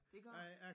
Det gør der